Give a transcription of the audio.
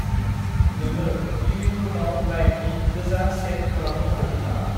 नोंङो लिभिं रुमआव लाइटनि गोजा शेड खालामनो हागोन नामा?